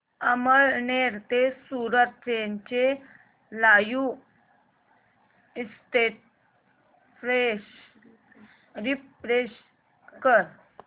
अमळनेर ते सूरत ट्रेन चे live status refresh कर